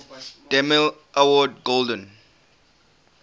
demille award golden